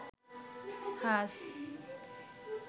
হাস